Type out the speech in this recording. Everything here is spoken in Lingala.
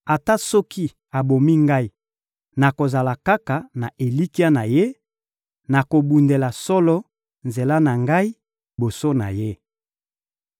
Ata soki abomi ngai, nakozala kaka na elikya na Ye, nakobundela solo nzela na ngai liboso na Ye.